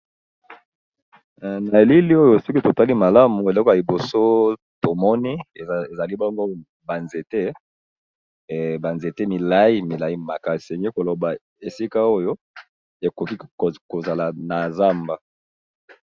na elili oyo soki totali malamu eloko ya liboso tomoni ezali bango banzete milai milai maka eseni koloba esika oyo ekoki kozala na zamba